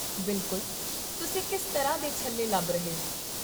ਬਿਲਕੁਲ, ਤੁਸੀਂ ਕਿਸ ਤਰ੍ਹਾਂ ਦੇ ਛੱਲੇ ਲੱਭ ਰਹੇ ਹੋ?